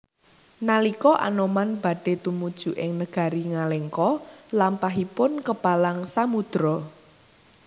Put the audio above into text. Nalika Anoman badhe tumuju ing negari Ngalengka lampahipun kepalang samudra